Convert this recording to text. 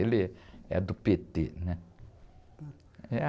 Ele é do pê-tê, né?